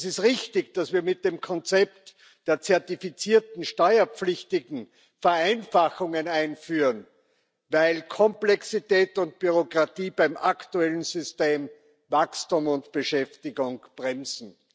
Es ist richtig, dass wir mit dem Konzept der zertifizierten Steuerpflichtigen Vereinfachungen einführen, weil Komplexität und Bürokratie beim aktuellen System Wachstum und Beschäftigung bremsen.